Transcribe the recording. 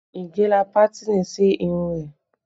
Ige la pátìnì sí irun rẹ